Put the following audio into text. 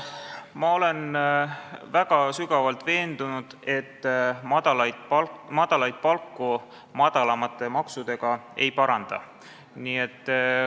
Ma olen sügavalt veendunud, et madalaid palku madalamate maksudega ei paranda.